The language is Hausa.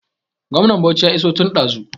Gwamnan Bauchi ya iso tun ɗazu